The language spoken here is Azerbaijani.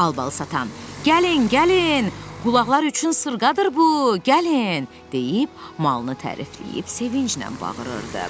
Albalı satan: "Gəlin, gəlin! Qulaqlar üçün sırğadır bu, gəlin!" deyib malını tərifləyib sevinclə bağırırdı.